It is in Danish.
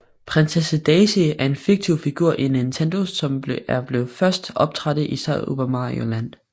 Prinsesse Daisy er en fiktiv figur i Nintendo som er blevet først optrådte i Super Mario Land